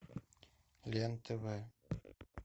лен тв